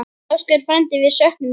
Ásgeir frændi, við söknum þín.